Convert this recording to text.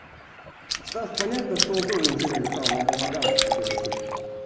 стас понятно что он тоже ничего не решал но он помогал это решить